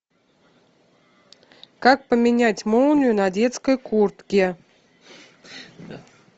как поменять молнию на детской куртке